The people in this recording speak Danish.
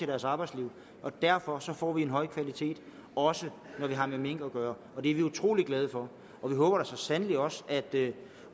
deres arbejdsliv derfor får vi en høj kvalitet også når vi har med mink at gøre og det er vi utrolig glade for vi håber da så sandelig også at